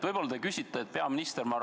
Võib-olla te küsite peaministrilt üle.